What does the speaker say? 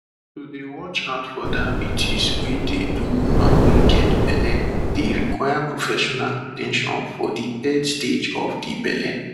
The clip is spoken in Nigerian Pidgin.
to dey watch out for diabetes wey dey do woman wey get belle dey require professional at ten tion for de third stage of de belle